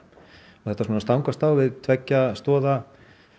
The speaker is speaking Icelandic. og þetta stangast á við tveggja stoða